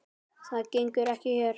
Það gengur ekki hér.